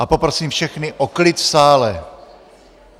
A poprosím všechny o klid v sále.